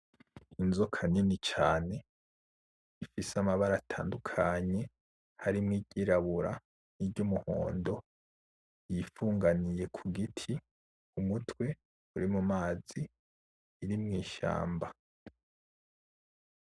Inzoka nini cane ifise amabara atandukanye, harimwo iryirabura ni ry'umuhondo yifunganiye kugiti. Umutwe urimumazi iri mwi shamba.